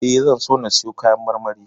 E, zan so na siyo kayan marmari.